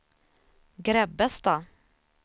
Grebbestad